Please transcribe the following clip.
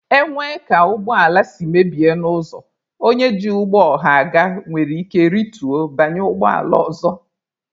E nwee ka ụgbọ ala si mebie n'ụzọ, onye ji ụgbọ ọha aga nwere ike rituo banye ụgbọala ọzọ.